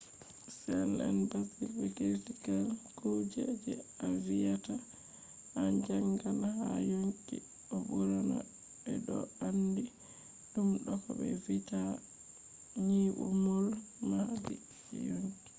cells en basic be critical kuje je a viyata a jangan ha yonki bo ɓurna ɓe ɗo andi ɗum do ko ɓe vi’ata nyimol mahdi je yonki